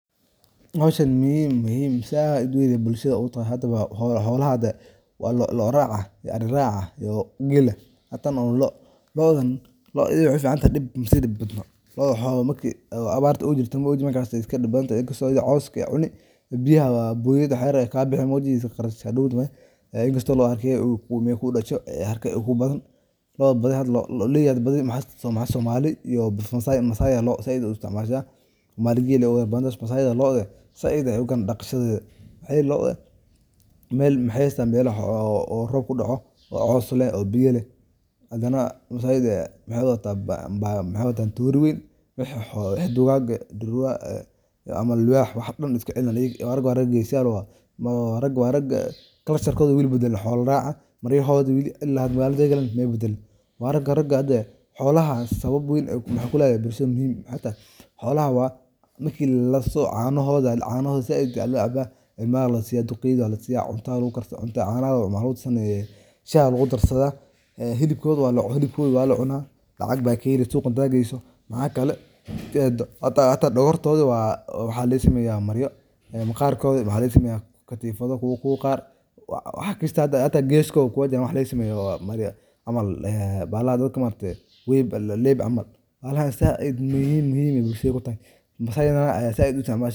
Howsahani muhim zaaid weyn beey u tahay howlaha hada lo'o raca iyo Ari raca iyo geela tan u loo. Looda iyada waxay u ficantahay masi dibadno loda waxawaya marki abar jirto maog markay kala dibadabtahay inakato iyada cooska cuneeyso biyaha boyada waxyar kabixin maog qarash hadow dambe inkasto marki kudasho haraka kudasho kubadan dadka badi waxajira somalida massi ba zaid looda u isticmasha massi looda zaid daqashdeda maxa yelay looda mel waxay haysatan o robka kudaco o cows leeh o biya leh hadana mesha ayada maxay watan Toori weyn wixi duwag eh duurwa ama Libax wax daan iskaciliniyan. Ragaa wa rag geesi yal raaga wax rag culture koda wali watan ay wali badalin maryahoda xola rag ay wali badalin wa raga raga hada waxay kuleyahin muhim bulshada daxdeda waxay tahay xolaha marki laliso canahoda zaaid aya lo caba ilma lasiya duqeyda aya lasiya cunta lagukarsada caahoda shah aya lagukarsada hilibkoda wa lacuna lacag ba kaheli suuqa marka geeyso maaxa kala hata dagortoda waxa laga smeeya dar waxa laga sameeya katifada kowa qar hata geskoda waxa laga sameeya bahala weyn camal leeb zaaid zaid muhim bey bulshada u tahay massi dana aya zaid u isticmasho.